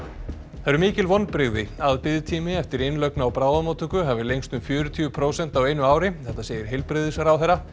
það eru mikil vonbrigði að biðtími eftir innlögn á bráðamóttöku hafi lengst um fjörutíu prósent á einu ári þetta segir heilbrigðisráðherra